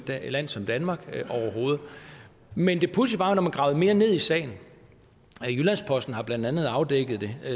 land som danmark men det pudsige var at når man gravede ned i sagen jyllands posten har blandt andet afdækket det